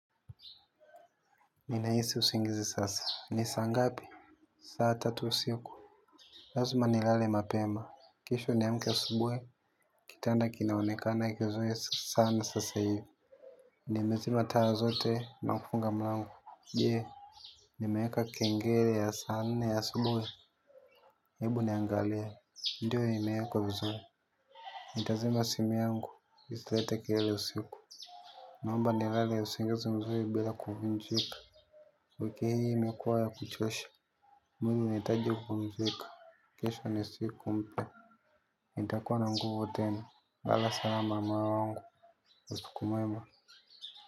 Ni nahisi usingizi sasa. Ni saa ngapi? Saa tatu usiku. Lazima nilale mapema. Kesho niamke asubuhi. Kitanda kinaonekana kizuri sana sasa hivi. Nimezima taa zote na kufunga mlango. Je. Nimeweka kengele ya sana nne asubuhi. Hebu niangalie. Ndiyo imeekwa vizuri. Nitazima simu yangu. Isilete kilele usiku. Naomba nilale usingizi mzuri bila kuvunjika. Wiki hii imekuwa ya kuchosha. Mimi nahitaji kupumzika kesho ni siku mpya nitakuwa na nguvu tena lala salama moyo wangu usiku mwema.